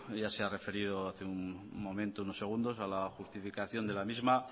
ya se ha referido hace unos segundos a la justificación de la misma